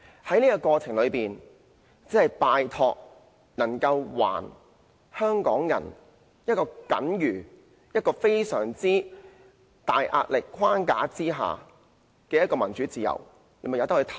在過程中，拜託給予香港人在一個壓力非常大的框架下那點僅餘的民主自由，任由選委自行投票。